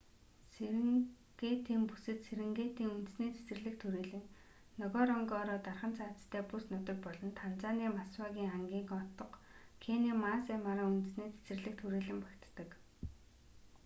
серингетийн бүсэд серингетийн үндэсний цэцэрлэгт хүрээлэн нгоронгоро дархан цаазтай бүс нутаг болон танзаны масвагын ангийн отго кенийн маасай мара үндэсний цэцэрлэгт хүрэээлэн багтдаг